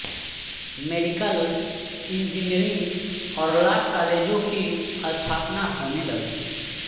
medical engineering और law कालेजों की स्थापना होने लगी